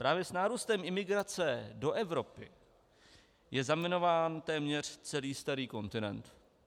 Právě s nárůstem imigrace do Evropy je zaminován téměř celý starý kontinent.